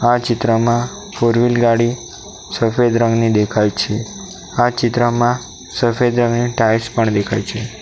આ ચિત્રમાં ફોરવ્હીલ ગાડી સફેદ રંગની દેખાય છે આ ચિત્રમાં ટાઇલ્સ પણ દેખાય છે.